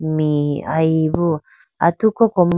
mee ayi boo atu ko kom--